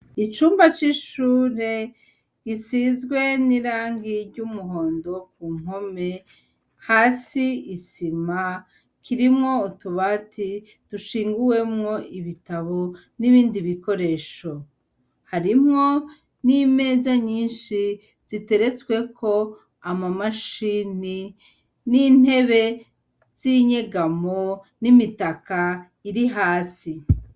Icumba c'ishure gisizwe n'irangi ry"umuhondo ku mpome, hasi isima kirimwo utubati dushinguwemwo ibitabo, n'ibindi bikoresho. Harimwo n'imeza nyishi ziteretsweko amamashini n'intebe z'inyegamo n'imitaka iri hasi.